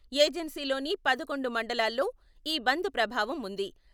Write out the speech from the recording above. ఏజెన్సీలోని పదకొండు మండలాల్లో ఈ బంద్ ప్రభావం ఉంది.